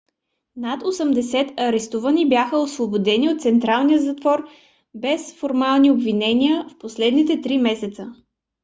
над 80 арестувани бяха освободени от централния затвор без формални обвинения в последните 3 месеца